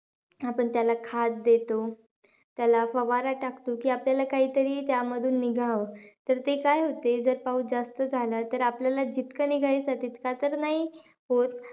आपण त्याला खाद देतो. त्याला फवारा टाकतो की, आपल्याला काहीतरी त्यामधून निघावं. तर ते काय होते? जर पाऊस जास्त झाला तर, आपल्याला जितकं निघायचंय तितकं तर नाही होत.